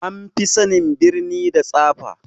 An fi sanin birni da tsafa